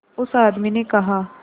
उस आदमी ने कहा